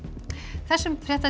þessum fréttatíma